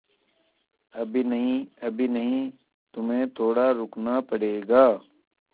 अभी नहीं अभी नहीं तुम्हें थोड़ा रुकना पड़ेगा